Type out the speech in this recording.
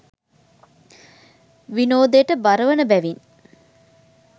විනෝදයට බරවන බැවින්